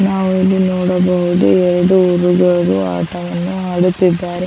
ನಾವು ಇಲ್ಲಿ ನೋಡಬಹುದು ಎರಡು ಹುಲಿಗಳು ಆಟವನ್ನು ಆಡುತ್ತಿದ್ದಾರೆ .